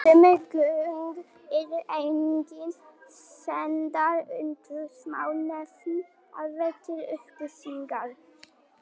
Sömu gögn eru einnig sendar utanríkismálanefnd Alþingis til upplýsingar.